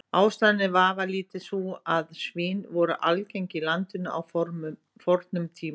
Ástæðan er vafalítið sú að svín voru algeng í landinu á fornum tíma.